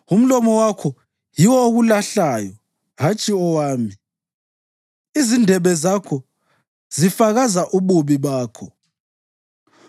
Umlomo wakho yiwo okulahlayo, hatshi owami; izindebe zakho zifakaza ububi bakho.